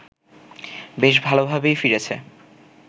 বেশ ভালোভাবেই ফিরেছে